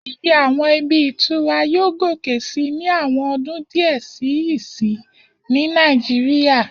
Iye àwọn ibi ìtura yóò gòkè sí ní àwọn ọdún díẹ̀ sí ìsín ní Nàìjíríyà